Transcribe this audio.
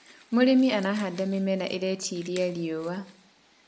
mũrĩmi arahanda mĩmera iretĩĩria riũa